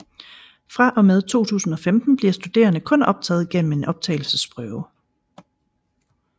Fra og med 2015 bliver studerende kun optaget gennem en optagelsesprøve